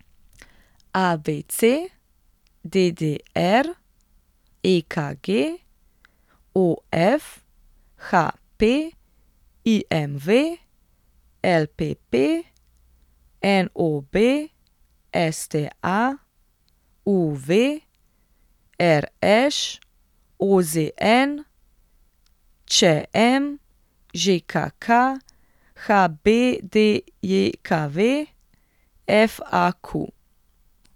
ABC, DDR, EKG, OF, HP, IMV, LPP, NOB, STA, UV, RŠ, OZN, ČM, ŽKK, HBDJKV, FAQ.